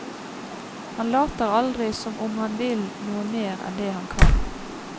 Han later aldri som om han vil noe mer enn det han kan.